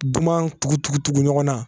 Duguman tugu tugu tugu ɲɔgɔn na